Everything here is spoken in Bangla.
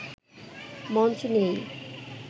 মঞ্চ নেই